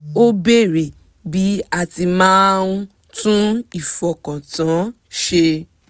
ó béèrè bí a ti máa ń tún ìfọkàntán ṣe